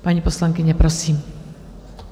Paní poslankyně, prosím.